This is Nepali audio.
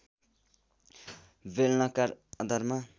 बेलनाकार आधारमा